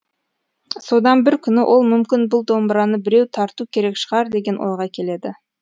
содан бір күні ол мүмкін бұл домбыраны біреу тарту керек шығар деген ойға келеді